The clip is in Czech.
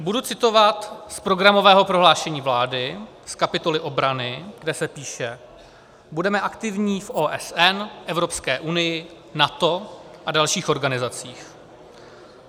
Budu citovat z programového prohlášení vlády z kapitoly obrany, kde se píše: Budeme aktivní v OSN, Evropské unii, NATO a dalších organizacích.